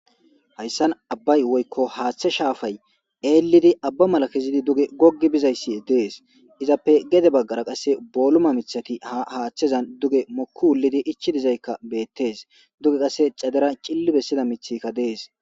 Hayssan abay woyko hathe shafay eelidi aba mala kezidi duge gogi bizayssi dees izappe gede bagara qasse boluma mithati hathezan duge moku wulidi ichi dizayka betes duge qasse xadera c'lili besida mithikka dees.